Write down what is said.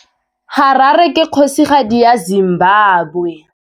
Harare ke kgosigadi ya Zimbabwe.